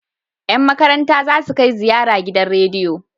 Yan makaranta zasu kai ziyara gidan rediyo